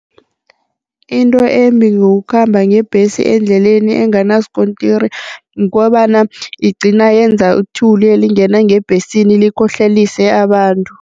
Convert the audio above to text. Into embi ngokukhamba ngebhesi endleleni enganaskontiri kukobana igcina yenza ithuli elingena ngebhesini, likhohlelise abantu.